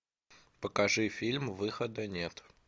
покажи фильм выхода нет